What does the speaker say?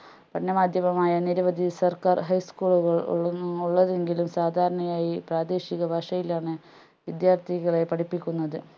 പഠനമാധ്യമമായ നിരവധി സർക്കാർ high school കൾ കളും ഉള്ളതെങ്കിലും സാധാരണയായി പ്രാദേശിക ഭാഷയിലാണ് വിദ്യാർത്ഥികളെ പഠിപ്പിക്കുന്നത്